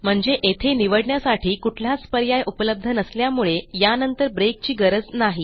म्हणजे येथे निवडण्यासाठी कुठलाच पर्याय उपलब्ध नसल्यामुळे यानंतर ब्रेकची गरज नाही